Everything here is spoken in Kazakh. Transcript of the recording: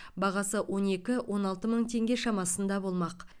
бағасы он екі он алты мың теңге шамасында болмақ